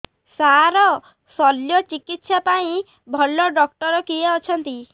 ସାର ଶଲ୍ୟଚିକିତ୍ସା ପାଇଁ ଭଲ ଡକ୍ଟର କିଏ ଅଛନ୍ତି